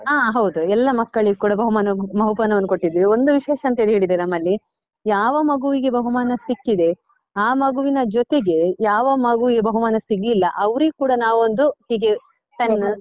ಹಾ ಹೌದು, ಎಲ್ಲ ಮಕ್ಕಳಿಗೂ ಕೂಡ ಬಹುಮಾನ~ ಬಹುಮಾನವನ್ನು ಕೊಟ್ಟಿದ್ವಿ, ಒಂದು ವಿಶೇಷ ಅಂತ ಹೇಳಿದ್ರೆ ನಮ್ಮಲ್ಲಿ, ಯಾವ ಮಗುವಿಗೆ ಬಹುಮಾನ ಸಿಕ್ಕಿದೆ ಆ ಮಗುವಿನ ಜೊತೆಗೆ ಯಾವ ಮಗುವಿಗೆ ಬಹುಮಾನ ಸಿಗ್ಲಿಲ್ಲ ಅವ್ರಿಗೂ ಕೂಡ ನಾವು ಒಂದು ಹೀಗೆ pen .